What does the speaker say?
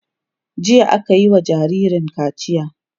jiya akayi wa jinjirin kaciya